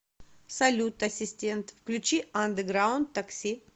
салют ассистент включи андеграунд такси